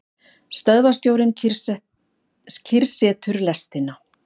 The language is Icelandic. Stöðvarstjórinn kyrrsetur lestina.